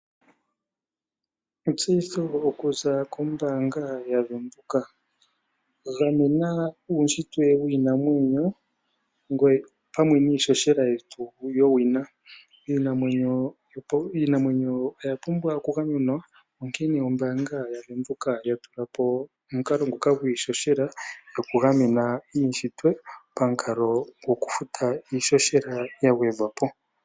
Etseyitho okuza kombaanga yaVenduka, gamena uushitwe wiinamwenyo opamwe niihohela yetu yowina. Iinamwenyo oya pumbwa okugamenwa, onkene ombaanga yaVenduka ya tula po omukalo nguka gwiihohela gwokugamena uushitwe pamukalo gwokufuta iihohela yagwedhwa po.